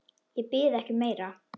Ég bið ekki um meira.